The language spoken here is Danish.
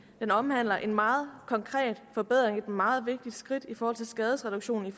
har omhandlet en meget konkret forbedring og er et meget vigtigt skridt med henblik på skadesreduktion